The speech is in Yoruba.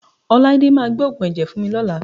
Ọláídé máa gbé òògùn ẹ̀jẹ̀ fún mi lọ́la